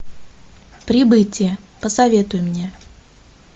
прибытие посоветуй мне